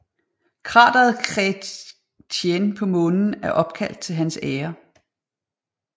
Krateret Chrétien på Månen er opkaldt til hans ære